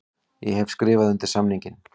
Ég hef skrifað undir samning.